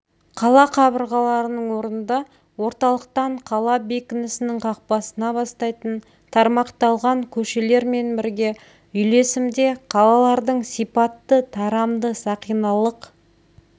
қала қабырғаларының орнында орталықтан қала бекінісінің қақпасына бастайтын тармақталған көшелермен бірге үйлесімде қалалардың сипатты тарамды-сақиналық